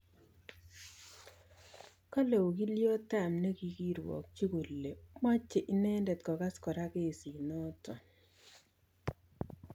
Kale ogilyot ap negigirwakchi kole mache inendet kegas kora kesi notok